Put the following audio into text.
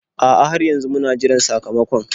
A'a, har yanzu muna jiran sakamakon.